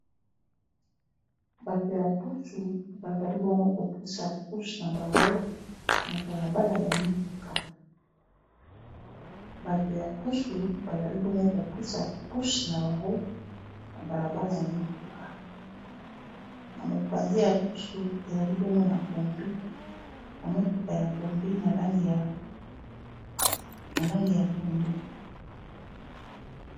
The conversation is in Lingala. bato ya pusu bazali bongo kopusa pusu na bango na balabala ya mituka na mopanzi ya pusu ezali na motuka ya kombi na langi ya pondu.